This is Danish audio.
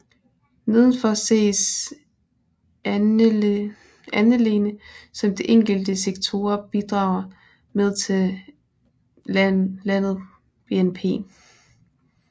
Nedenfor ses andelene som de enkelte sektorer bidrager med til landet BNP